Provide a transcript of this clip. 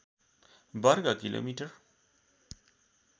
वर्ग किलोमिटर